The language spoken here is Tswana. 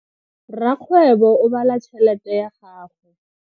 Rakgwebo o bala tšhelete ya gagwe.